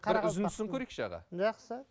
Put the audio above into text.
бір үзіндісін көрейікші аға жақсы